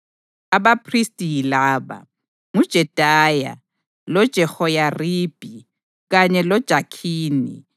Abaphristi yilaba: nguJedaya; loJehoyaribhi; kanye loJakhini;